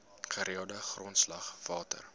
gereelde grondslag water